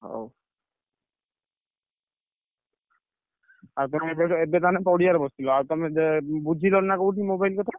ହଉ ଏବେ ତାହେଲେ ପଡିଆରେ ବସିଥିଲ। ଆଉ ତମେ ବୁଝିଲଣି ନା କୋଉଠି mobile କଥା?